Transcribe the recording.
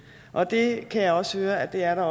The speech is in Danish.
og det kan jeg også høre at der